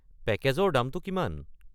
পেকেজৰ দামটো কিমান?